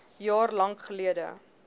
jaar lank geldig